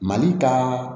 Mali ka